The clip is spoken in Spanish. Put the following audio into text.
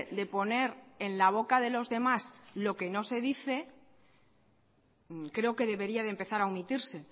de poner en la boca de los demás lo que no se dice creo que debería de empezar a omitirse